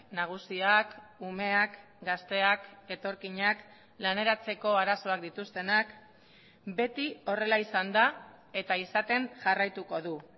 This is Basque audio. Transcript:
nagusiak umeak gazteak etorkinak laneratzeko arazoak dituztenak beti horrela izan da eta izaten jarraituko du